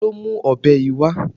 Ta ló mú ọ̀bẹ yìí wá?